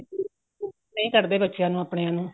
ਨਹੀਂ ਕੱਡਦੇ ਬੱਚਿਆਂ ਨੂੰ ਅਪਣਿਆ ਨੂੰ